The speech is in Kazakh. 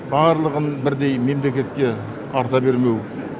барлығын бірдей мемлекетке арта бермеу